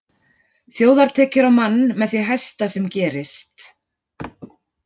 Þjóðartekjur á mann með því hæsta sem gerist.